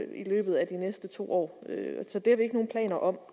i løbet af de næste to år så det har vi ikke nogen planer om